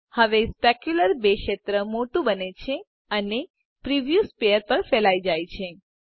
હવે સ્પેક્યુલ્ર ર ક્ષેત્ર મોટું બને છે અને પ્રિવ્યુ સ્પેર પર ફેલાઈ જાય છે